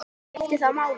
Já, skiptir það máli?